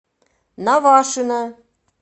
навашино